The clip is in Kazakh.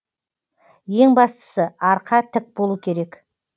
ең бастысы арқа тік болу керек